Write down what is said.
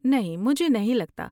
نہیں، مجھے نہیں لگتا۔